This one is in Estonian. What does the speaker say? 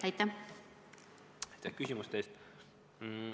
Aitäh küsimuste eest!